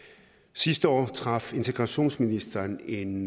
sidste år træf integrationsministeren en